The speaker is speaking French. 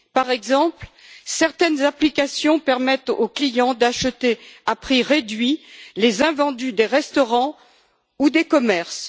Par exemple, certaines applications permettent aux clients d'acheter à prix réduit les invendus des restaurants ou des commerces.